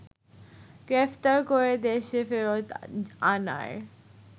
গ্রেফতার করে দেশে ফেরত আনার